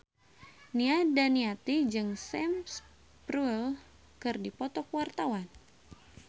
Nia Daniati jeung Sam Spruell keur dipoto ku wartawan